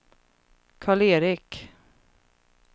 Karl-Erik